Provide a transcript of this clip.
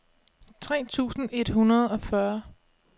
tre tusind et hundrede og fyrre